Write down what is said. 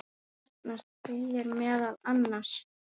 Þarna segir meðal annars